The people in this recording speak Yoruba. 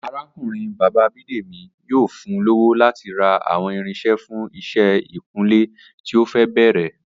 Arákùnrin bàbá Bídèmí yóò fun lówó láti ra àwọn irinṣẹ́ fún iṣẹ́ ìkunlé tí ó fẹ́ bẹ̀rẹ̀